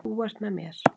Þú ert með mér!